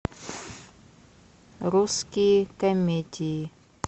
русские комедии